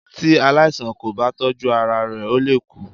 Tí aláìsàn kò bá tọ́jú ara rẹ ó lè kú.